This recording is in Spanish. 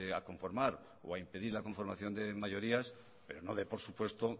a conformar o a impedir la conformación de mayorías pero no dé por supuesto